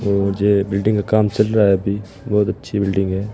और जे बिल्डिंग का काम चल रहा है अभी बहोत अच्छी बिल्डिंग है।